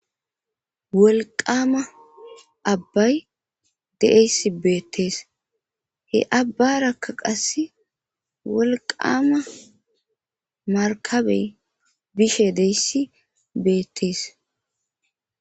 wolqama abbay de7eyss beettees he abbarakka qasse wolqama markabey bishe deyssi beettees